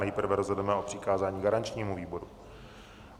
Nejprve rozhodneme o přikázání garančního výboru.